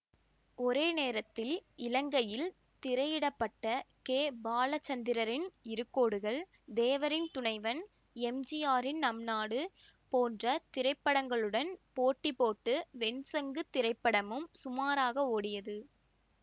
ஒரே நேரத்தில் இலங்கையில் திரையிட பட்ட கே பாலச்சந்தரின் இரு கோடுகள் தேவரின் துணைவன் எம்ஜிஆரின் நம் நாடு போன்ற திரைபடங்களுடன் போட்டி போட்டு வெண் சங்கு திரைப்படமும் சுமாராக ஓடியது